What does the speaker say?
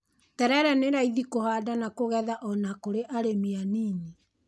Terere nĩ raithi kũhanda na kũgetha o na kũri arĩmi anini.